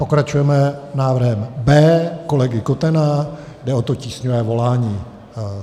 Pokračujeme návrhem B kolegy Kotena, jde o to tísňové volání.